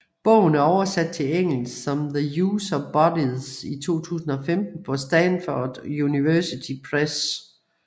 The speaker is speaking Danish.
Bogen er oversat til engelsk som The Use of Bodies i 2015 på Stanford University Press